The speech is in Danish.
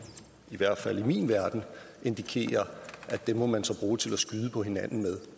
i hvert fald i min verden indikerer at dem må man så bruge til at skyde på hinanden med